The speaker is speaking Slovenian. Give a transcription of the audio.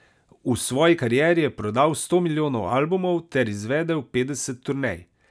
V svoji karieri je prodal sto milijonov albumov ter izvedel petdeset turnej.